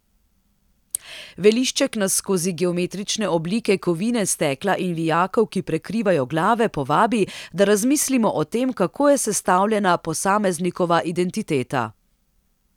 Velišček nas skozi geometrične oblike kovine, stekla in vijakov, ki prekrivajo glave, povabi, da razmislimo o tem, kako je sestavljena posameznikova identiteta.